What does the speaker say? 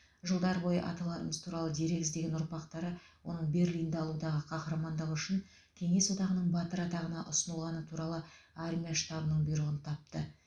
жылдар бойы аталарымыз туралы дерек іздеген ұрпақтары оның берлинді алудағы қаһармандығы үшін кеңес одағының батыры атағына ұсынылғаны туралы армия штабының бұйрығын тапты